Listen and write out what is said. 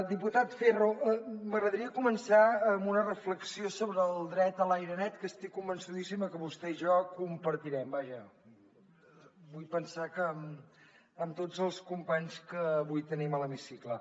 diputat ferro m’agradaria començar amb una reflexió sobre el dret a l’aire net que estic convençudíssima que vostè i jo compartirem i vaja vull pensar que amb tots els companys que avui tenim a l’hemicicle